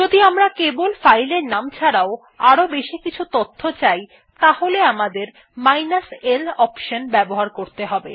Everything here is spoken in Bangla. যদি আমরা কেবল ফাইল এর নাম ছাড়াও আরও বেশি কিছু তথ্য চাই তাহলে আমাদের মাইনাস l অনশন ব্যবহার করতে হবে